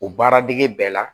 O baaradege bɛɛ la